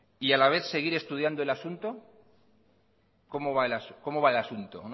y a la vez seguir estudiando el asunto